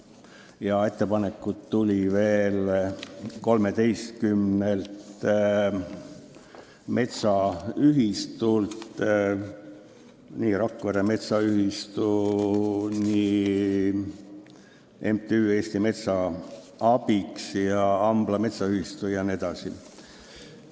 Veel tuli ettepanekuid 13 metsaühistult: Rakvere Metsaühistult, MTÜ-lt Eesti Metsa Abiks, Ambla Metsaühistult jne.